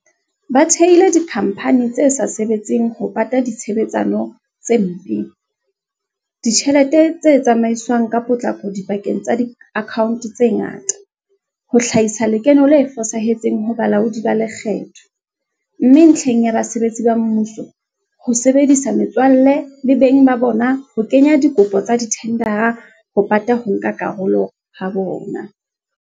Ba thehile dikhamphani tse sa sebetseng ho pata ditshebetsano tse mpe, ditjhelete tse tsamaiswang ka potlako dipakeng tsa diakhaonto tse ngata, ho hlahisa lekeno le fosahetseng ho balaodi ba lekgetho, mme ntlheng ya basebetsi ba mmuso, ho sebedisa metswalle le beng ka bona ho kenya dikopo tsa dithendara ho pata ho nka karolo ha bona.